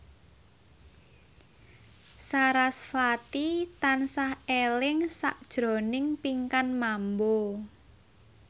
sarasvati tansah eling sakjroning Pinkan Mambo